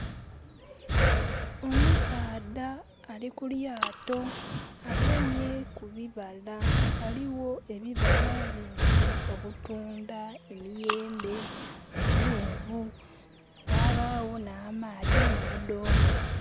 Omusaadha ali ku lyato, agemye kubibala. Ghaligho ebibala bingi, obutunda, emiyembe, amenvu, wabaawo n'amaadhi mu budoome